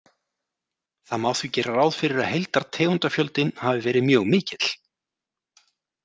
Það má því gera ráð fyrir að heildartegundafjöldinn hafi verið mjög mikill.